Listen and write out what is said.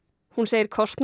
hún segir kostnað